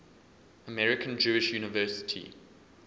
american jewish university